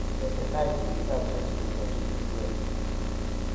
Teseta timit ab chelsea kondochin Epl.